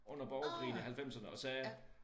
Under borgerkrigen i halvfemserne og sagde